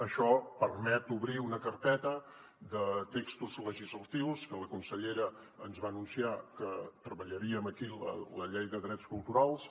això permet obrir una carpeta de textos legislatius que la consellera ens va anunciar que treballaríem aquí la llei de drets culturals